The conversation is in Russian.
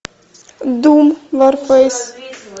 дум варфейс